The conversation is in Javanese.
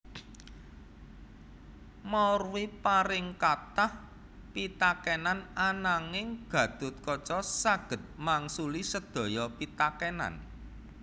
Maurwi paring kathah pitakenan ananging Gathotkaca saged mangsuli sedaya pitakenan